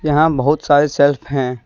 यहां बहोत सारे शेल्फ हैं।